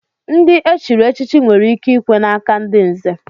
Ndị e chiri echichi nwere ike ikwe n'aka ndị nzè.